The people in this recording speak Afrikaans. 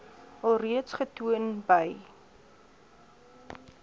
alreeds getoon by